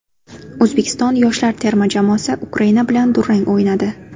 O‘zbekiston yoshlar terma jamoasi Ukraina bilan durang o‘ynadi.